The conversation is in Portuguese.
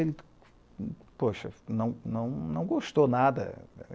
Ele, poxa, não, não, não gostou nada.